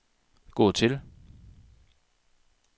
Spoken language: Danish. gå til